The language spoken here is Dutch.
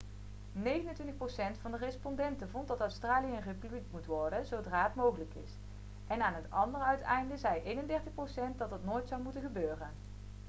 29 procent van de respondenten vond dat australië een republiek moet worden zodra het mogelijk is en aan het andere uiteinde zei 31 procent dat dat nooit zou moeten gebeuren